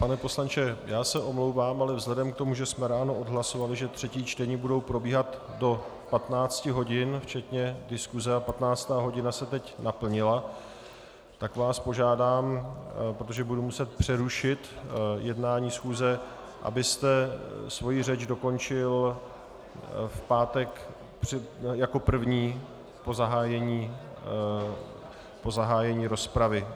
Pane poslanče, já se omlouvám, ale vzhledem k tomu, že jsme ráno odhlasovali, že třetí čtení budou probíhat do 15 hodin včetně diskuse, a 15. hodina se teď naplnila, tak vás požádám, protože budu muset přerušit jednání schůze, abyste svoji řeč dokončil v pátek jako první po zahájení rozpravy.